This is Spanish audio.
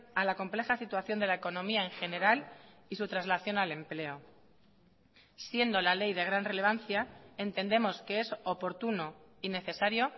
a la compleja situación de la economía en general y su traslación al empleo siendo la ley de gran relevancia entendemos que es oportuno y necesario